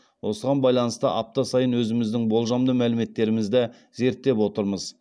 осыған байланысты апта сайын өзіміздің болжамды мәліметтерімізді зерттеп отырмыз